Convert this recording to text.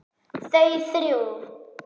Þau þrjú.